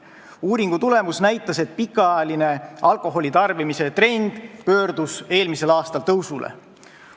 Uuring näitas, et pikaajaline alkoholitarbimise trend pöördus eelmisel aastal tõusule.